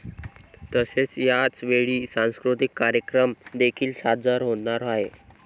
तसेच याचवेळी सांस्कृतिक कार्यक्रम देखील सादर होणार आहेत.